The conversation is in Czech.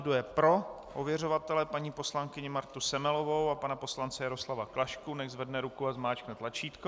Kdo je pro ověřovatele paní poslankyni Martu Semelovou a pana poslance Jaroslava Klašku, nechť zvedne ruku a zmáčkne tlačítko.